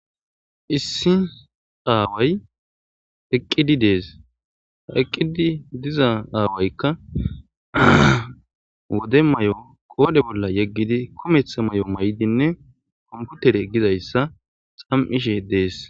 Issi away eqidi de'es eqidi diza awayka wode mayo qodhe bolla yegidi de'es kumetha mayo mayidine kompitere gizaysa xapishe des